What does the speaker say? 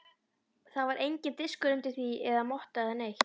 Það var enginn diskur undir því eða motta eða neitt.